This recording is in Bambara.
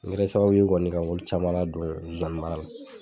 N kɛra sababu ye kɔni ka olu caman ladon zoani mara la.